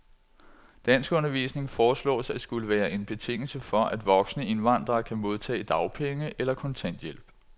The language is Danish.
Danskundervisning foreslås at skulle være en betingelse for, at voksne indvandrere kan modtage dagpenge eller kontanthjælp.